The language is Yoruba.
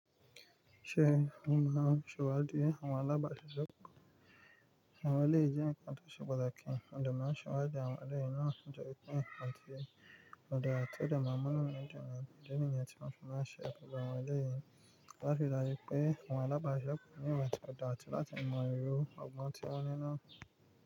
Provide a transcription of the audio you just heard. Ṣé ó mọ̀ sówà díẹ̀ mọ̀ alábasẹ́jọpọ̀? Àwọn eléi jẹ unkan tó ṣe pataki mode ma n sawadi díẹ̀ àwọn ọ̀rẹ́ inú ọ̀dọ̀ ẹtọ́ nìkan tí ó lè rí níyàn ti ọ̀nà fún ọ̀ṣẹ́ ẹgbẹ́ àwọn ọ̀rẹ́ yìí. Wọn fìlà wípé àwọn alábasẹ́jọpọ̀ ní ìwà ọ̀dọ̀ àti láti mọyììrò ọgbọ́n tí wọ́n ní náà.